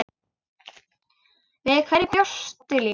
Við hverju bjóstu líka?